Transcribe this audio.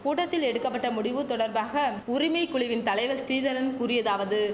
கூட்டத்தில் எடுக்க பட்ட முடிவு தொடர்பாக உரிமை குழுவின் தலைவர் ஸ்ரீதரன் கூறியதாவது